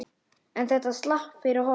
En þetta slapp fyrir horn.